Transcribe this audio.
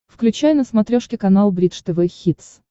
включай на смотрешке канал бридж тв хитс